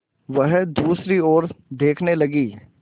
वह दूसरी ओर देखने लगी